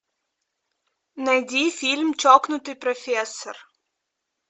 найди фильм чокнутый профессор